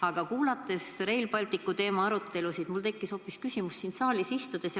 Aga kuulates seda Rail Balticu teemalist arutelu, tekkis mul siin saalis istudes hoopis selline küsimus.